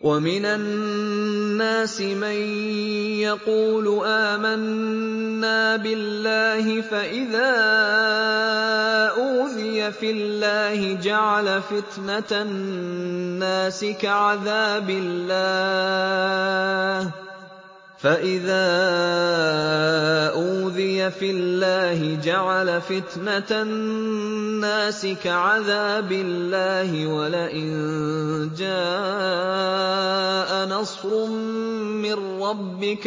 وَمِنَ النَّاسِ مَن يَقُولُ آمَنَّا بِاللَّهِ فَإِذَا أُوذِيَ فِي اللَّهِ جَعَلَ فِتْنَةَ النَّاسِ كَعَذَابِ اللَّهِ وَلَئِن جَاءَ نَصْرٌ مِّن رَّبِّكَ